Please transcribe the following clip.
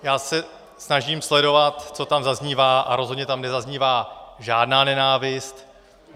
Já se snažím sledovat, co tam zaznívá, a rozhodně tam nezaznívá žádná nenávist.